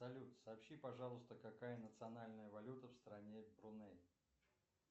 салют сообщи пожалуйста какая национальная валюта в стране бруней